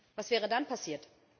Was wäre dann passiert?